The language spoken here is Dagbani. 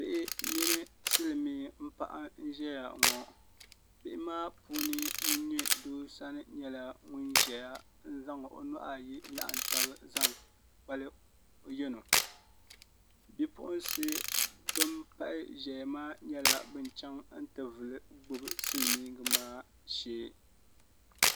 Bihi mini silmiin paɣa n ʒɛya ŋɔ bihi maa puuni ŋun nyɛ doo sani nyɛla ŋun ʒɛya n zaŋ o nuhu ayi n laɣam tabi zaŋ kpali o yɛno bipuɣunsi bin pahi ʒɛya maa nyɛla bin chɛŋ n ti vuli gbubi silmiingi maa shee